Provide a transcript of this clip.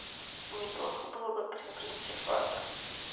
неплохо было бы приобрести швабру